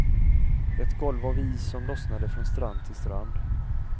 Ett golv av is som lossnade från strand till strand.